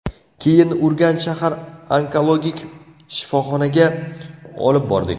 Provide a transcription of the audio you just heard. Keyin Urganch shahar onkologik shifoxonasiga olib bordik.